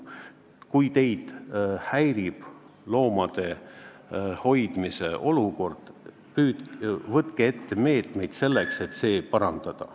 Kui teid häirib loomade olukord, võtke meetmeid, selleks et seda parandada.